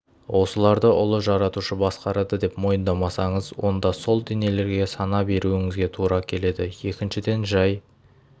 осыларды ұлы жаратушы басқарады деп мойындамасаңыз онда сол денелерге сана беруіңізге тура келеді екіншіден жай